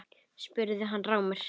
spurði hann rámur.